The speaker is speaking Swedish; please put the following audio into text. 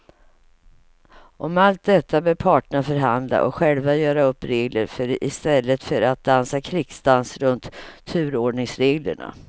Om allt detta bör parterna förhandla och själva göra upp regler för i stället för att dansa krigsdans runt turordningsreglerna.